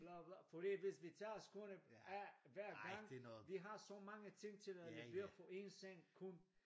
Bla bla fordi hvis vi tager skoene af hver gang vi har så mange ting til at levere for en seng kun